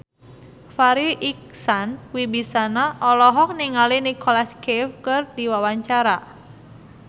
Farri Icksan Wibisana olohok ningali Nicholas Cafe keur diwawancara